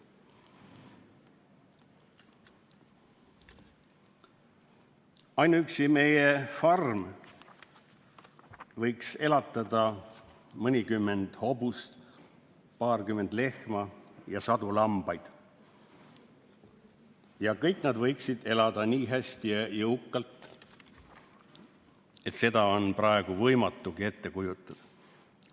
"Ainuüksi meie farm võiks elatada mõnikümmend hobust, paarkümmend lehma, sadu lambaid – ja kõik nad võiksid elada nii hästi ja jõukalt, et seda on praegu võimatu ettegi kujutada.